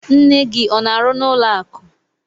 Nne gị ọ n'arụ n'ụlọ akụ?